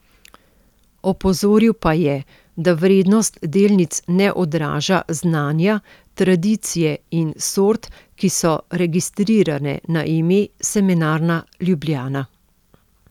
Opozoril pa je, da vrednost delnic ne odraža znanja, tradicije in sort, ki so registrirane na ime Semenarna Ljubljana.